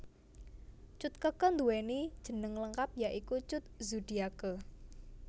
Cut Keke nduwèni jeneng lengkap ya iku Cut Zudiake